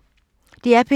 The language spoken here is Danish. DR P2